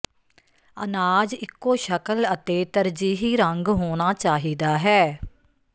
ਅਨਾਜ ਇਕੋ ਸ਼ਕਲ ਅਤੇ ਤਰਜੀਹੀ ਰੰਗ ਹੋਣਾ ਚਾਹੀਦਾ ਹੈ